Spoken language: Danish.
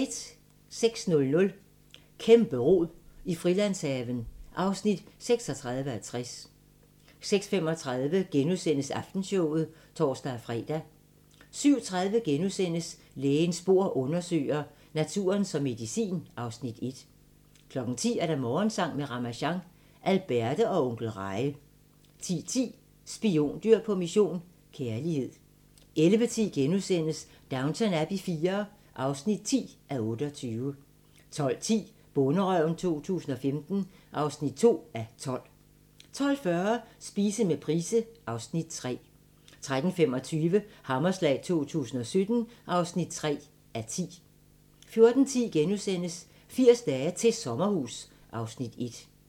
06:00: Kæmpe-rod i Frilandshaven (36:60) 06:35: Aftenshowet *(tor-fre) 07:30: Lægens bord undersøger: Naturen som medicin (Afs. 1)* 10:00: Morgensang med Ramasjang | Alberte og Onkel Reje 10:10: Spiondyr på mission - kærlighed 11:10: Downton Abbey IV (10:28)* 12:10: Bonderøven 2015 (2:12) 12:40: Spise med Price (Afs. 3) 13:25: Hammerslag 2017 (3:10) 14:10: 80 dage til sommerhus (Afs. 1)*